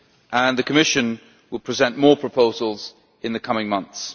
and the Commission will present more proposals in the coming months.